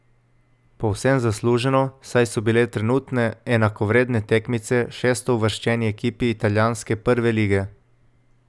Povsem zasluženo, saj so bile na trenutke enakovredne tekmice šestouvrščeni ekipi italijanske prve lige.